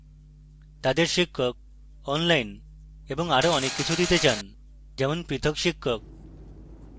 তাদের শিক্ষক online এবং আরো অনেক কিছু দিতে চান যারা পৃথক শিক্ষক